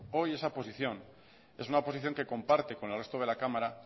hoy esa posición es una posición que comparte con el resto de la cámara